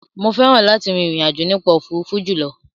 Mo fẹ́ràn láti rin ìrìn àjò nípa òfuurufú jùlọ.